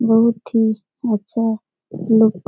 बहुत ही अच्छा लुक --